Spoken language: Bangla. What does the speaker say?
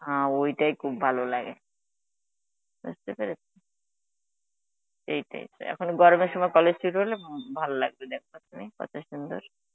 হা ঐটাই খুব ভালো লাগে, বুঝতে পেরেছ. এই type এর এখন গরমের সময় college হলে ভাললাগত তুমি কত সুন্দর.